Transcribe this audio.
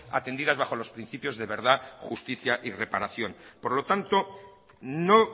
atendidas bajo los principios de verdad justicia y reparación por lo tanto no